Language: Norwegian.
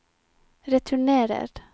returnerer